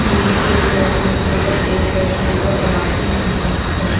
ये एक टेबल है टेबल के ऊपर प्लेट है उसके ऊपर परांठे हैं काफी सारे--